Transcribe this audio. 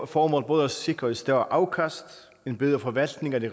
formål både at sikre et større afkast en bedre forvaltning af de